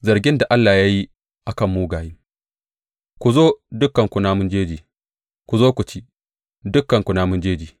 Zargin da Allah ya yi a kan mugaye Ku zo, dukanku namun jeji, ku zo ku ci, dukanku namun jeji!